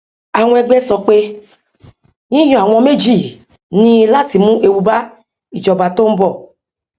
àwọn ẹgbẹ sọ pé yíyan àwọn méjì yìí ní láti mú ewu bá ìjọba tó ń bọ